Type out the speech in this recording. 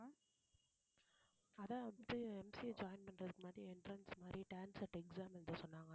அதான் வந்து MCAjoin பண்றதுக்கு முன்னாடி entrance மாதிரி exam எழுத சொன்னாங்க